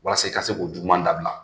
Walasa i ka se k'o juguma dabila.